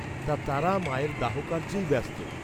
তা তারা মায়ের দাহ কার্য্যেই ব্যস্ত।